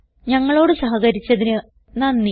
ഞങ്ങളോട് സഹകരിച്ചതിന് നന്ദി